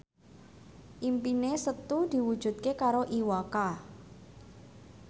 impine Setu diwujudke karo Iwa K